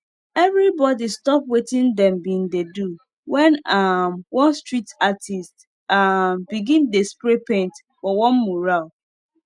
everybody stop wetin them bin dey do when um one street artist um begin dey spray paint for one mural